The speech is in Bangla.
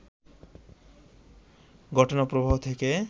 ঘটনাপ্রবাহ থেকে